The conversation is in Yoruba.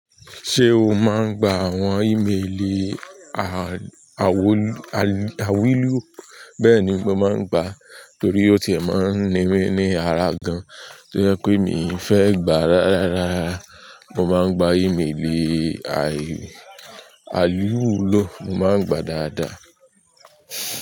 Ṣé o máa ń gba àwọn ímelì awilu? Bẹ́ẹ̀ni mo máa ń gba torí o tiẹ̀ máa ń ní mi ni ara gan. To jẹ́ pé mi ò fẹ́ gbà rárá, mo máa ń gba ímelì aliwulo, mo máa ń gba dáadáa.